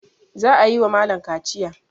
Za a yi wa malam kaciya.